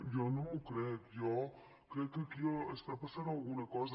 jo no m’ho crec jo crec que aquí passa alguna cosa